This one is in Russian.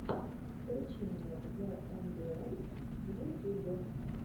включи мне зэ эмбиэнт в ютюбе